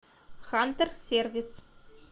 хантер сервис